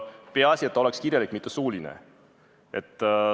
Peaasi, et leping oleks kirjalik, mitte suuline.